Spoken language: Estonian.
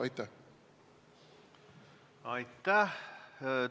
Aitäh!